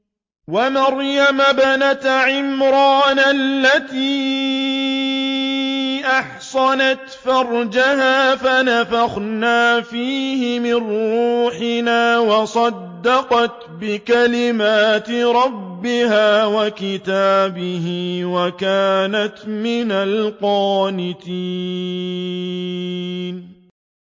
وَمَرْيَمَ ابْنَتَ عِمْرَانَ الَّتِي أَحْصَنَتْ فَرْجَهَا فَنَفَخْنَا فِيهِ مِن رُّوحِنَا وَصَدَّقَتْ بِكَلِمَاتِ رَبِّهَا وَكُتُبِهِ وَكَانَتْ مِنَ الْقَانِتِينَ